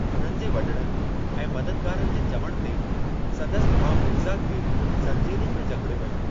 उन्हनि जे वॾड़नि ऐं मददगारनि जे चवण ते, संदसि भाउ मिर्ज़ा खे जंजीरुनि में जकिड़ियो वियो।